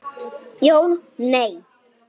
Jón: Nei.